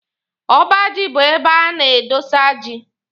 Ọba ji bụ ebe a na-adọsa ji.